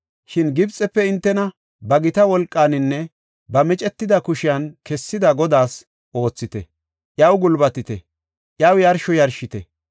Shin Gibxefe hintena ba gita wolqaaninne ba micetida kushen kessida Godaas oothite; iyaw gulbatite; iyaw yarsho yarshite.